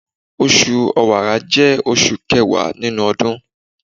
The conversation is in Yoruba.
Osù Ọ̀wààrà jẹ́ oṣù kẹwàá nínú ọdún